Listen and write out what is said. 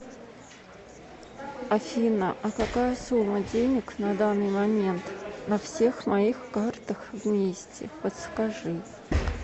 афина а какая сумма денег на данный момент на всех моих картах вместе подскажи